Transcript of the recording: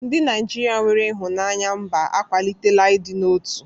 Ndị Naijiria nwere ịhụnanya mba akwalitela ịdị n'otu.